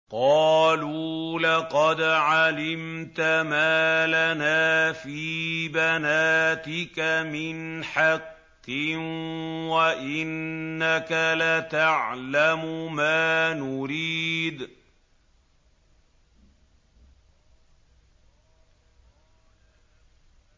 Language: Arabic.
قَالُوا لَقَدْ عَلِمْتَ مَا لَنَا فِي بَنَاتِكَ مِنْ حَقٍّ وَإِنَّكَ لَتَعْلَمُ مَا نُرِيدُ